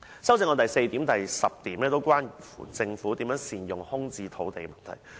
修正案的第四項及第十項關乎政府如何善用空置土地的問題。